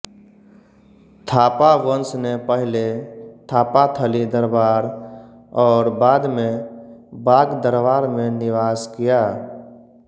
थापा वंशने पहिले थापाथली दरबार और बादमें बाग दरबारमें निवास किया